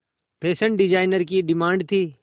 fashion designer की demand थी